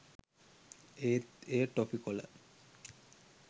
ඒත් එය ටොෆි කොල